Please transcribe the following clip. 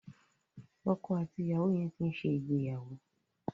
Ọkọ àti ìyàwó yẹn ti ń ṣe ìgbéyàwó.